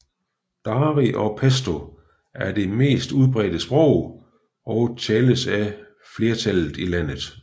Dari og Pashto er det mest udbrede sprog og tales af flertallet i landet